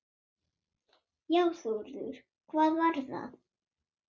Já Þórður, hvað var það?